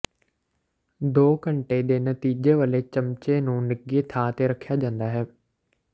ਦੋ ਘੰਟੇ ਦੇ ਨਤੀਜੇ ਵਾਲੇ ਚਮਚੇ ਨੂੰ ਨਿੱਘੇ ਥਾਂ ਤੇ ਰੱਖਿਆ ਜਾਂਦਾ ਹੈ